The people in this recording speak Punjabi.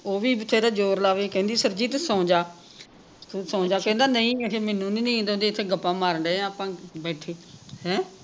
ਉਹ ਵੀ ਵਥੇਰਾ ਜੋਰ ਲਾਵੇ ਕਹਿੰਦੀ ਸਰਜੀਤ ਸੋਂ ਜਾ ਤੂੰ ਸੋਂ ਜਾ ਕਹਿੰਦਾ ਨਹੀਂ ਅਖੇ ਮੈਨੂੰ ਨਹੀਂ ਨੀਂਦ ਆਉਂਦੀ ਐਥੇ ਗੱਪਾਂ ਮਾਰਨ ਢਏ ਆ ਆਪਾਂ ਬੈਠੇ ਹੈਂ